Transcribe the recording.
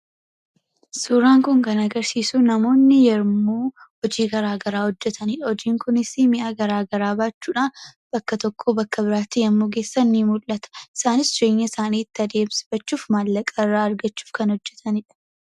Suuraan kun kan agarsiisu namoonni yommuu hojii garaagaraa hojjetani. Hojiin kunisii mi'a garaagaraa baachuudhaan bakka tokkoo bakka biraatti yommuu geessan ni mul'ita. Isaanis jireenya isaanii itti adeemsifachuuf, maallaqa irraa argachuuf, kan hojjetani dha.